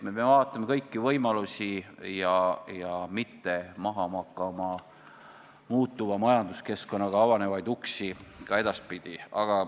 Me peame vaatama kõiki võimalusi ja mitte maha magama muutuva majanduskeskkonnaga avanevaid uksi.